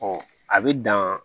a bɛ dan